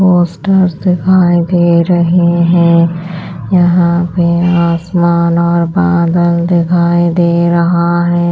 Poster दिखाई दे रहे हैं यहाँ पे आसमान और बादल दिखाई दे रहा है।